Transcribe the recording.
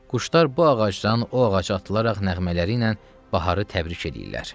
Quşlar bu ağacdan o ağaca atılaraq nəğmələriylə baharı təbrik eləyirlər.